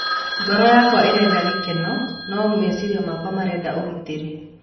Ngoro yakwa ĩrenda gĩkeno, no meciria makwa mendaga ũgitĩri